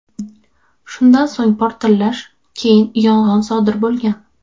Shundan so‘ng portlash, keyin yong‘in sodir bo‘lgan.